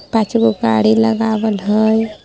पांच गो गाड़ी लगावल हय।